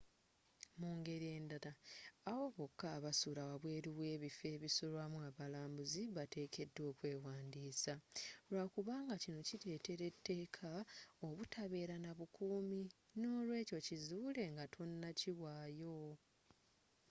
mungeri endala abo bokka abasula wabweru webifo ebisulwamu abalambuzi bateekedwa okwewandiisa lwakubanga kino kiretera etteeka obutabeera nabukuumi nolwekyo kizuule ngatonakiwayo